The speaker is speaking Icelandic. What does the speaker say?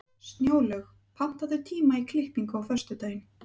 Snjólaug, pantaðu tíma í klippingu á föstudaginn.